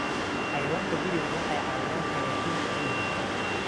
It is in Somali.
Xayawaanka gurigu waxay caawiyaan hagaajinta ciidda.